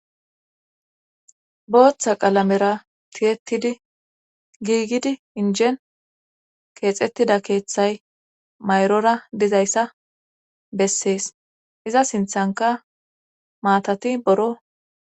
booththa qalamera tiyetidi giigidi injen keexettida keeththay mayrora dizayssa bessees iza sinthanka maatati boro